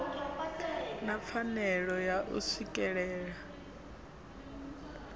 na pfanelo ya u swikelela